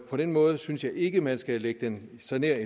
på den måde synes jeg ikke at man skal lægge den så nær et